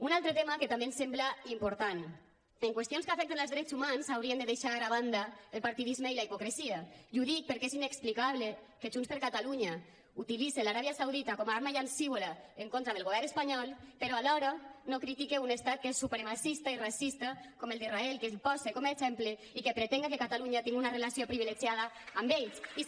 un altre tema que també ens sembla important en qüestions que afecten els drets humans s’haurien de deixar a banda el partidisme i la hipocresia i ho dic perquè és inexplicable que junts per catalunya utilitzi l’aràbia saudita com a arma llancívola en contra del govern espanyol però alhora no critiqui un estat que és supremacista i racista com el d’israel que el posi com exemple i que pretengui que catalunya tingui una relació privilegiada amb ells